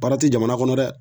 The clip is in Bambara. Baara te jamana kɔnɔ dɛ